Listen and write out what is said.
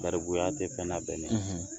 Garibuya tɛ fɛn labɛnnen